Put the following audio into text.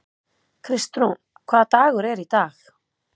Kristrún, hvaða dagur er í dag?